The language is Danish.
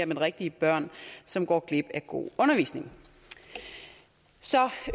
men rigtige børn som går glip af god undervisning så